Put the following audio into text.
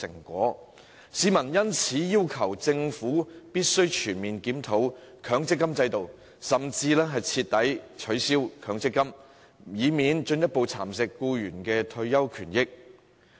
他們要求政府全面檢討強積金制度，甚至徹底取消強積金，以免僱員的退休權益受到進一步蠶食。